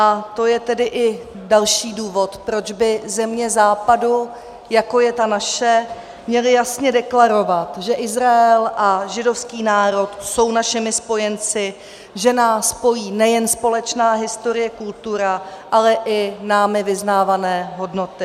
A to je tedy i další důvod, proč by země Západu, jako je ta naše, měly jasně deklarovat, že Izrael a židovský národ jsou našimi spojenci, že nás pojí nejen společná historie, kultura, ale i námi vyznávané hodnoty.